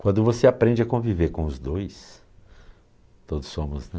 Quando você aprende a conviver com os dois, todos somos, né?